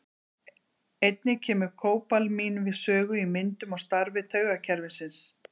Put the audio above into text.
Einnig kemur kóbalamín við sögu í myndun og starfi taugakerfisins.